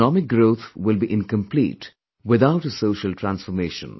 Economic growth will be incomplete without a social transformation